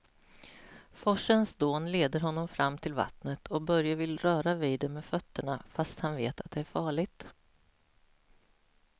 Forsens dån leder honom fram till vattnet och Börje vill röra vid det med fötterna, fast han vet att det är farligt.